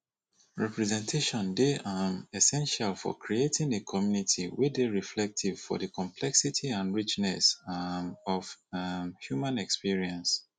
representation dey um essential for creating a community wey dey reflective of di complexity and richness um of um human experience